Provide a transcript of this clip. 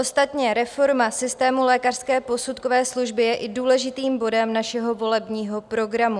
Ostatně reforma systému lékařské posudkové služby je i důležitým bodem našeho volebního programu.